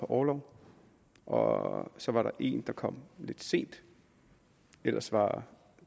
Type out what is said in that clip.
orlov og så var der én der kom lidt sent ellers var